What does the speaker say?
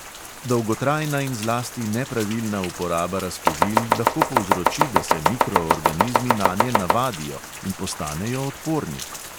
Dolgotrajna in zlasti nepravilna uporaba razkužil lahko povzroči, da se mikroorganizmi nanje navadijo in postanejo odporni.